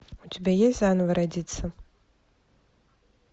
у тебя есть заново родиться